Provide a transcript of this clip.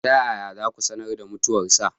Ta yaya za ku sanar da mutuwarsa?